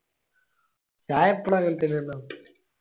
ഞാൻ എപ്പളും അങ്ങനെ തന്നെലോ